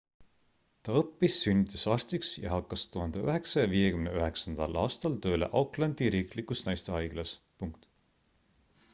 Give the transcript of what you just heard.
ta õppis sünnitusarstiks ja hakkas 1959 aastal tööle aucklandi riiklikus naistehaiglas